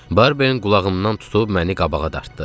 Barbeinin qulağımdan tutub məni qabağa dartdı.